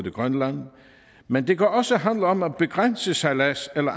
i grønland men det kan også handle om at begrænse sejlads eller